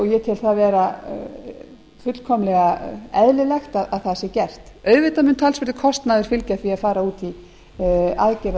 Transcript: og ég tel það vera fullkomlega eðlilegt að það sé gert auðvitað mun talsverður kostnaður fylgja því að fara út í aðgerð af þessu